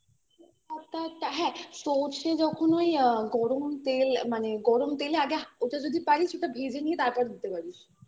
হ্যাঁ সর্ষে যখন ওই গরম তেল মানে গরম তেলে আগে ওটা যদি পারিস ওটা ভেজে নিয়ে তারপর দিতে পারিস